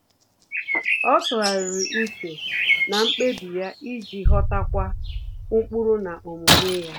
Ọ́ tụ́ghàrị̀rị̀ úchè na mkpébi ya iji ghọ́tákwúọ́ ụ́kpụ́rụ́ na omume ya.